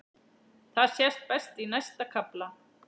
Það sést best í næsta kafla.